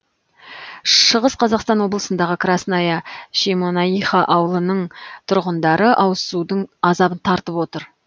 шығыс қазақстан облысындағы красная шемонаиха ауылының тұрғындары ауызсудың азабын тартып отыр